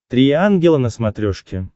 три ангела на смотрешке